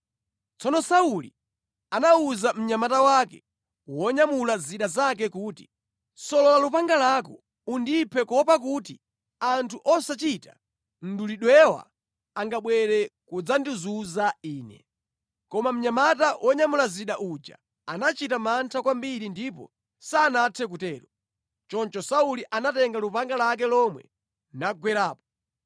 Tsono Sauli anawuza mnyamata wake wonyamula zida zake kuti, “Solola lupanga lako undiphe kuopa kuti anthu osachita mdulidwewa angabwere kudzandizunza ine.” Koma mnyamata wonyamula zida uja anachita mantha kwambiri ndipo sanathe kutero. Choncho Sauli anatenga lupanga lake lomwe nagwerapo.